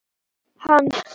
Við skulum velja lífið.